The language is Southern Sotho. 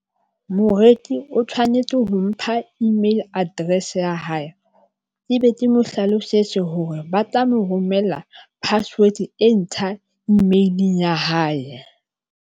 Moreki o tshwanetse ho mpha email address ya hae, ebe ke mo hlalosetse hore ba tla mo romella password e ntjha email-ing ya hae.